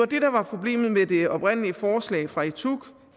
det der var problemet med det oprindelige forslag fra etuc